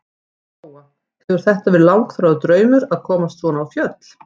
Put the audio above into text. Lóa: Hefur þetta verið langþráður draumur að komast svona á fjöll?